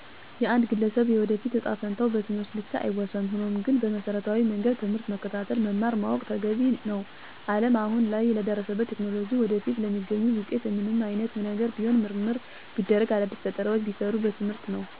የአንድን ግለሰብ የወደፊት እጣ ፈንታ በትምህርት ብቻ አይወሰንም። ሆኖም ግን በመሰረታዊ መንገድ ትምህርትን መከታተል መማር ማወቅ ተገቢ ነው። አለም አሁን ላይ ለደረሱበት ቴክኖሎጂ ወደፊትም ለሚገኙት ውጤቶች ምንም አይነት ነገር ቢሰራ ምርምር ቢደረግ አዳዲስ ፈጠራውች ቢሰሩ በትምህርት ነው። ትምህርት ቁልፍ የህይወት መንገድ ጥበብ ነው። ሰው ቢማር አዎ ይለዋጣል፣ ያድጋል ኑሮው ይሻሻላል ይመራመራል ለራሱ፣ ለቤተሰቡ፣ ለሀገሩ ይጠቅማል። ስለ ትምህርት ጠቀሜታ ለሁሉም ግንዛቤ ማስጨበጥ የትምህርት አሰጣጡን ማዘመን ማሻሻል ያስፈልጋል። ለተማረው የሰው ሀይል በመንግስትም ይሁን በግል የስራ እድል መፍጠር ሲቻል ለወጥ ይመጣል።